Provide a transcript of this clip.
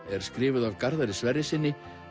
er skrifuð af Garðari Sverrissyni